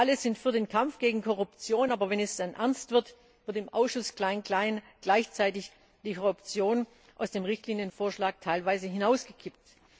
Alle sind für den Kampf gegen Korruption, aber wenn es dann ernst wird, wird im Ausschuss klein klein gleichzeitig die Korruption aus dem Richtlinienvorschlag teilweise hinausgekippt.